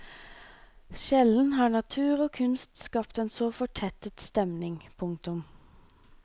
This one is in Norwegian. Sjelden har natur og kunst skapt en så fortettet stemning. punktum